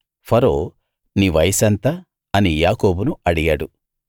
ఫరో నీ వయసెంత అని యాకోబును అడిగాడు